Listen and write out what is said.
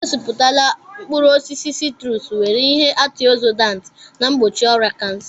E gosiputara mkpụrụ osisi siitrusu nwere ihe antịogzịdaantị na mgbochi ọrịa kansa.